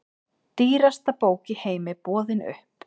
Dýrasta bók í heimi boðin upp